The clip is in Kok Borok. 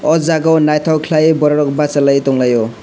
aw jaaga o nythok khaie borok rok basalai tonglaio.